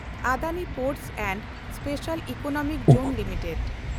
ᱟᱰᱟᱱᱤ ᱵᱚᱱᱫᱚ and special economic zone limited